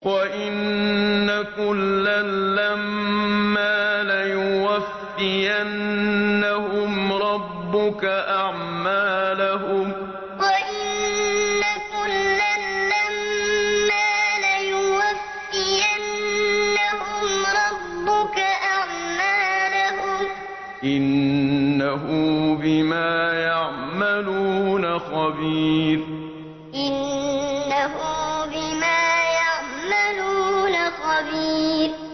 وَإِنَّ كُلًّا لَّمَّا لَيُوَفِّيَنَّهُمْ رَبُّكَ أَعْمَالَهُمْ ۚ إِنَّهُ بِمَا يَعْمَلُونَ خَبِيرٌ وَإِنَّ كُلًّا لَّمَّا لَيُوَفِّيَنَّهُمْ رَبُّكَ أَعْمَالَهُمْ ۚ إِنَّهُ بِمَا يَعْمَلُونَ خَبِيرٌ